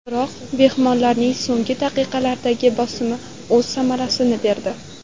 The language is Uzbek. Biroq mehmonlarning so‘nggi daqiqalardagi bosimi o‘z samarasini berdi.